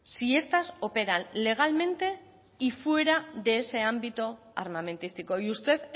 si estas operan legalmente y fuera de ese ámbito armamentístico y usted